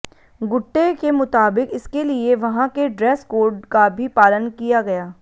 गुट्टे के मुताबिक इसके लिए वहां के ड्रेस कोड का भी पालन किया गया